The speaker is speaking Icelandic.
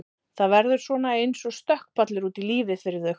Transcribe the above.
Þetta verður svona eins og stökkpallur út í lífið fyrir þau.